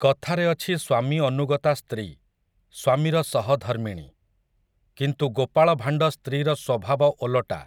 କଥାରେ ଅଛି ସ୍ୱାମୀ ଅନୁଗତା ସ୍ତ୍ରୀ, ସ୍ୱାମୀର ସହଧର୍ମିଣୀ, କିନ୍ତୁ ଗୋପାଳ ଭାଣ୍ଡ ସ୍ତ୍ରୀର ସ୍ୱଭାବ ଓଲଟା ।